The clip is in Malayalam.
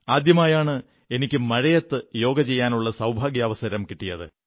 ആദ്യമായാണ് എനിക്ക് മഴയത്ത് യോഗ ചെയ്യാനുള്ള സൌഭാഗ്യാവസരം കിട്ടിയത്